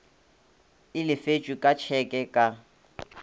e lefetšwe ka tšheke ka